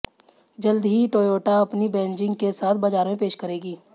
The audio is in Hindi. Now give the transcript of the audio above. जल्द ही टोयोटा अपनी बैजिंग के साथ बाजार में पेश करेगी